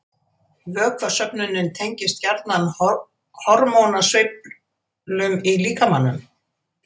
Vökvasöfnun tengist gjarnan hormónasveiflum í líkamanum